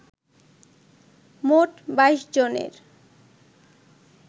মোট ২২ জনের